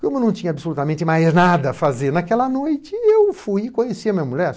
Como não tinha absolutamente mais nada a fazer naquela noite, eu fui e conheci a minha mulher.